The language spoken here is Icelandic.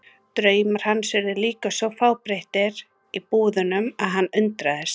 Draumar hans urðu líka svo fábreyttir í búðunum að hann undraðist.